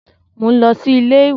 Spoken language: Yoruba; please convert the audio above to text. Mò ń lọ sí iléèwé